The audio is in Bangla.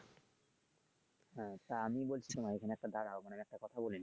হ্যা তা আমি বলছিলাম ওখানে একটু দাঁড়াও ওখানে আমি একটা কথা বলি।